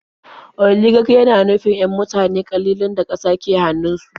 Oligak yana nufin 'yan mutane ƙalilan da ƙasa ke hannunsu.